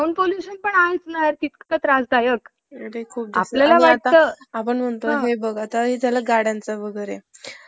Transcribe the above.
प्रश्न आला. मुरडपासून दहा kilometer अंतरावर दापोली, इथं इंग्रजी शाळा होती. धोंडुला तिथे शिकण्याची त्रीव्र इच्छा होती. पण धोंडुला म~ अं धोंडूचा भाऊ भिकू,